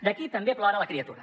d’aquí també plora la criatura